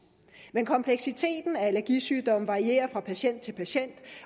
men kompleksiteten af allergisygdomme varierer fra patient til patient